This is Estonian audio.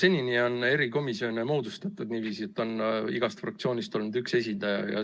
Senini on erikomisjone moodustatud niiviisi, et on igast fraktsioonist olnud üks esindaja.